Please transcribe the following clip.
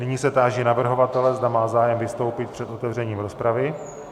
Nyní se táži navrhovatele, zda má zájem vystoupit před otevřením rozpravy.